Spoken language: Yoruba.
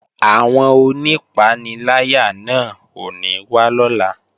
Àwọn onípaniláyà náà ò ní wá lọ́la